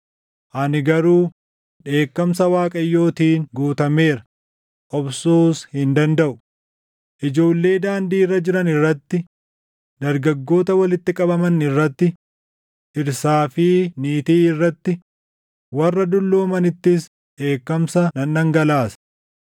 Ani garuu dheekkamsa Waaqayyootiin guutameera; obsuus hin dandaʼu. “Ijoollee daandii irra jiran irratti, dargaggoota walitti qabaman irratti, dhirsaa fi niitii irratti, warra dulloomanittis dheekkamsa nan dhangalaasa.